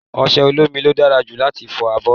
Ọṣẹ olómi ló dára jù láti fọ abọ́.